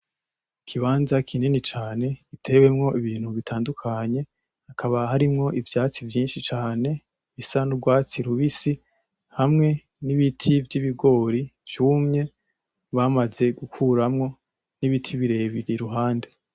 ikibanza kinini cane gitewemwo ibintu bitandukanye. Hakaba harimwo ivyatsi vyinshi cane bisa n'urwatsi rubisi, hamwe n'ibiti vy'ibigori vyumye bamaze gukuramwo n'ibiti birebire iruhande.